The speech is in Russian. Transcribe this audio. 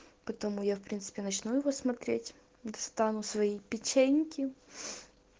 потому я в принципе начну его смотреть достану свои печеньки